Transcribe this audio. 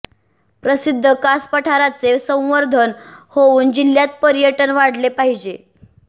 प्रसिध्द कास पठाराचे संवर्धन होवून जिल्ह्यात पर्यटन वाढले पाहिजे